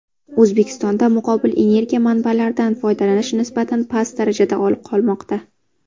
O‘zbekistonda muqobil energiya manbalaridan foydalanish nisbatan past darajada qolmoqda.